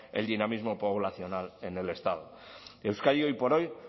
el dinamismo poblacional en el estado euskadi hoy por hoy